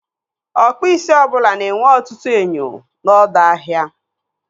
Ọkpụisi ọbụla na-enwe ọtụtụ enyo n'ọdọ ahịa.